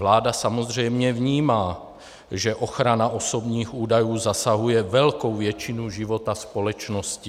Vláda samozřejmě vnímá, že ochrana osobních údajů zasahuje velkou většinu života společnosti.